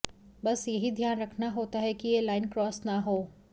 बस यही ध्यान रखना होता है कि यह लाइन क्रॉस ना हो